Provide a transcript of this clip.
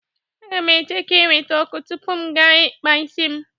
Aga m eche ka e weta ọkụ tupu m gaa ikpa isi m.